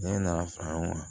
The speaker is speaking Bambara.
Ne nana fara ɲɔgɔn kan